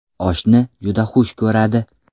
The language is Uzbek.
Oshni juda xush ko‘radi.